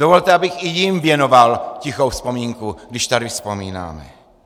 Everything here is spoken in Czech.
Dovolte, abych i jim věnoval tichou vzpomínku, když tady vzpomínáme.